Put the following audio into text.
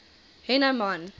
hennenman